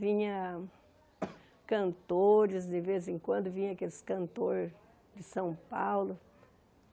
Vinha cantores de vez em quando, vinha aqueles cantores de São Paulo.